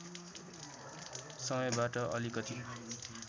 समयबाट अलिकति